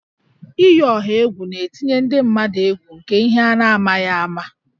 Iyi ọha egwu na-etinye ndị mmadụ egwu nke ihe a na-amaghị ama